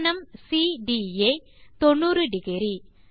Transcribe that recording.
கோணம் சிடிஏ 900